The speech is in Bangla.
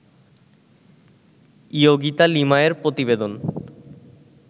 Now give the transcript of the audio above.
ইয়োগিতা লিমায়ের প্রতিবেদন